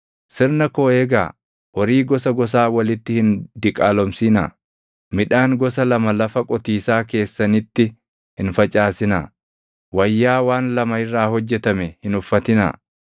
“ ‘Sirna koo eegaa. “ ‘Horii gosa gosaa walitti hin diqaalomsinaa. “ ‘Midhaan gosa lama lafa qotiisaa keessanitti hin facaasinaa. “ ‘Wayyaa waan lama irraa hojjetame hin uffatinaa.